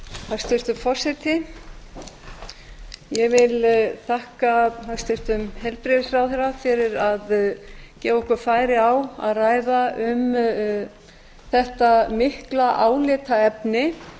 hæstvirtur forseti ég vil þakka hæstvirtum heilbrigðisráðherra fyrir að gefa okkur færi á að ræða um þetta mikla álitaefni